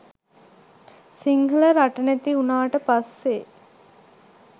සිංහල රට නැති උනාට පස්සේ